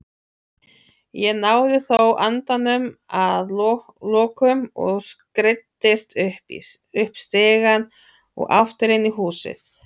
Ég náði þó andanum að lokum og skreiddist upp stigann og aftur inn í húsið.